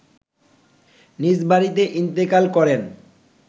নিজ বাড়িতে ইন্তেকাল করেন